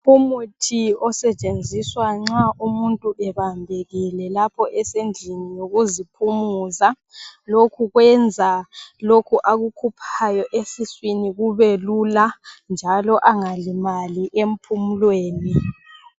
Umuthi osetshenziswa nxa umuntu ebambekile lapho esendlini yokuziphumuza. Lokhu kwenza lokho akukhuphayo esiswini kumbe Lula njalo angalimali emphumulweni.